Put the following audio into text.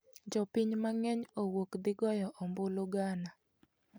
Jopiny mang'eny owuok dhi goyo ombulu Ghana